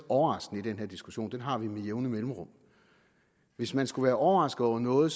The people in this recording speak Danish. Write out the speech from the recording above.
overraskende i den her diskussion den har vi med jævne mellemrum hvis man skulle være overrasket over noget